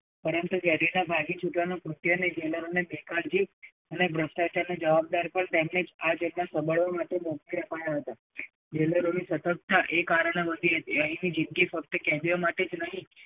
પરંતુ જેલમાંથી ભાગી છૂટવાનું કૃત્ય jailor ની બે-કાળજી અને ભ્રષ્ટાચારને જવાબદાર પણ તેમની આ ચેતના સાંભળવા માટે મુખ્ય ફાળો હતો. jailor ની સતર્કતા એ કારણે વધી હતી અહીની જિંદગી ફક્ત કેદીઓ માટે જ નહીં